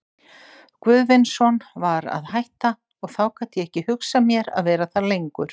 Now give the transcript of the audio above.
Guðvinsson var að hætta, og þá gat ég ekki hugsað mér að vera þar lengur.